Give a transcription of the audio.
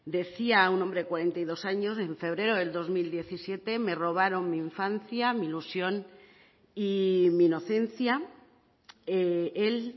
decía un hombre de cuarenta y dos años en febrero del dos mil diecisiete me robaron mi infancia mi ilusión y mi inocencia él